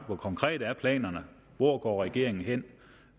hvor konkrete er planerne hvor går regeringen hen